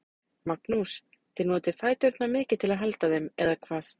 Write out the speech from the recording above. Magnús: Þið notið fæturna mikið til að halda þeim, eða hvað?